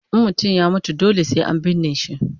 In mutum ya mutu dole sai an binne shi